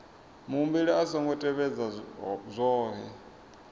muhumbeli a songo tevhedza zwohe